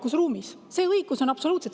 Absoluutselt, see õigus on!